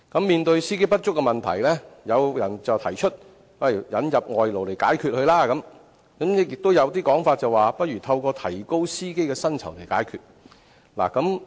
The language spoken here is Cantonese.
面對司機不足的問題，有意見提出引入外勞來解決問題，亦有說法認為可透過提高司機的薪酬來解決問題。